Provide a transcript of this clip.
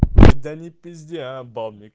да не пизди а бабник